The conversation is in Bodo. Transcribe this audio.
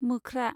मोख्रा